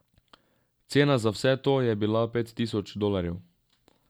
Cena za vse to je bila pet tisoč dolarjev.